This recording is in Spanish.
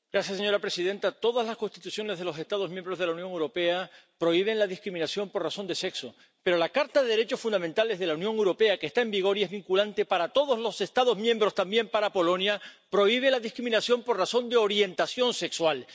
Señora presidenta, todas las constituciones de los Estados miembros de la Unión Europea prohíben la discriminación por razón de sexo, pero la Carta de los Derechos Fundamentales de la Unión Europea, que está en vigor y es vinculante para todos los Estados miembros —también para Polonia— prohíbe la discriminación por razón de orientación sexual.